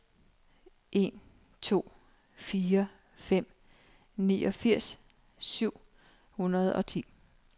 en to fire fem niogfirs syv hundrede og ti